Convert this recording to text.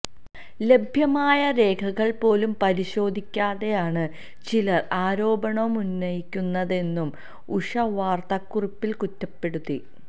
ലഭ്യമായ രേഖകള് പോലും പരിശോധിക്കാതെയാണ് ചിലര് ആരോപണമുന്നയിക്കുന്നതെന്നും ഉഷ വാര്ത്ത കുറിപ്പില് കുറ്റപ്പെടുത്തി